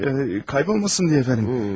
Hımm, kaybolmasın deyə əfəndim.